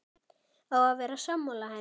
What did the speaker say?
Á að vera sammála henni.